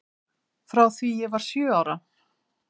Frá því ég var sjö ára.